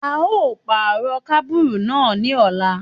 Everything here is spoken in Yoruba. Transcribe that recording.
A yóò pàrọ̀ kábùrù náà ní ọ̀la.